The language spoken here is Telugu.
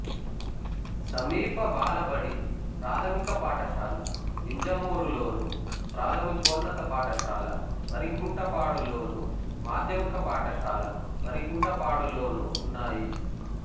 సమీప బాలబడి ప్రాథమిక పాఠశాల వింజమూరులోను ప్రాథమికోన్నత పాఠశాల వరికుంటపాడులోను మాధ్యమిక పాఠశాల వరికుంటపాడులోనూ ఉన్నాయి